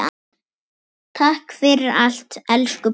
Takk fyrir allt, elsku pabbi.